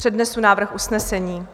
Přednesu návrh usnesení: